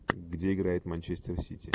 где играет манчестер сити